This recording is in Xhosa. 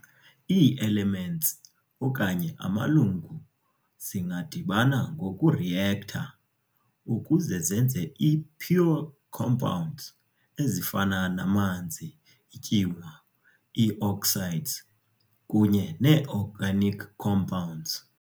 Ii-Elements okanye amalungu zingadibana ngoku-react"ha" ukuze zenze ii-pure compounds, ezifana namanzi, iityuwa, ii-oxides, kunye nee-organic compounds.